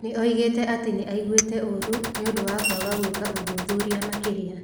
Nĩ oĩgĩte atĩ nĩ aiguĩte ũũru nĩ ũndũ wa kwaga gwĩka ũthuthuria makĩria.